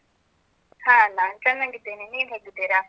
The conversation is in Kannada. ಹಾ ನಾನ್ ಚೆನ್ನಾಗಿದ್ದೇನೆ. ನೀವ್ ಹೇಗಿದ್ದೀರಾ?